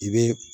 I bɛ